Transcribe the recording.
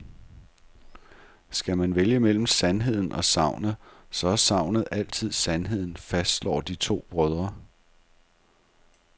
Skal man vælge mellem sandheden og sagnet, så er sagnet altid sandheden, fastslår de to brødre.